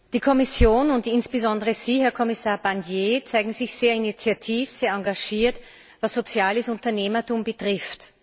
Die Kommission und insbesondere Sie, Herr Kommissar Barnier, zeigen sich sehr initiativ, sehr engagiert, was soziales Unternehmertum betrifft.